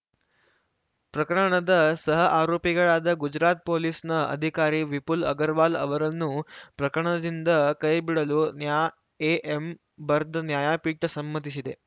ಪ್ರಕರಣದ ಸಹ ಆರೋಪಿಗಳಾದ ಗುಜರಾತ್‌ ಪೊಲೀಸ್‌ನ ಅಧಿಕಾರಿ ವಿಪುಲ್‌ ಅಗರ್‌ವಾಲ್‌ ಅವರನ್ನೂ ಪ್ರಕರಣದಿಂದ ಕೈಬಿಡಲು ನ್ಯಾಎಎಂ ಬರ್ದ್ ನ್ಯಾಯಪೀಠ ಸಮ್ಮತಿಸಿದೆ